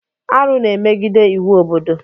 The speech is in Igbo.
Arụ na-emegide iwu obodo.